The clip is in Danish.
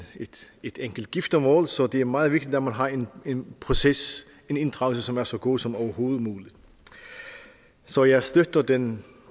et enkelt giftermål så det er meget vigtigt at man har en proces en inddragelse som er så god som overhovedet mulig så jeg støtter den